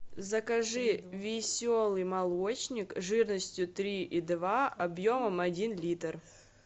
закажи веселый молочник жирностью три и два объемом один литр